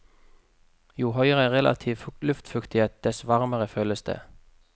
Jo høyere relativ luftfuktighet, dess varmere føles det.